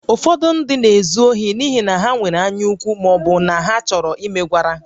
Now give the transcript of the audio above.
Ụfọdụ ndị ka bụ n'ihi na ha nwere anyaukwu ma ọ bụ na ha chọrọ imegwara